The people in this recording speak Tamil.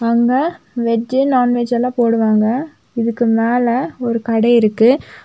அங்க வெஜ் நான் வெஜ்லாம் போடுவாங்க இதுக்கு மேல ஒரு கடை இருக்கு.